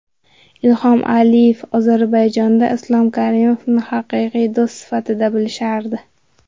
Ilhom Aliyev: Ozarbayjonda Islom Karimovni haqiqiy do‘st sifatida bilishardi.